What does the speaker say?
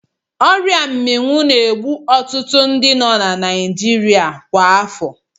Ọria Mmịwụ na-egbu ọtụtụ ndi na Naịjirịa kwa afọ.